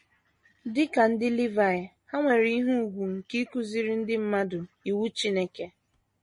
Dị ka ndị Livaị, ha nwere ihe ùgwù nke ịkụziri ndị mmadụ Iwu Chineke.